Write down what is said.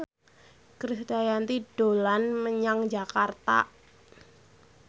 Krisdayanti dolan menyang Jakarta